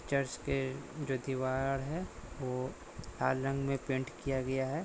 Church के जो दिवार हैवो लाल रंग मे पेंट किया गया है।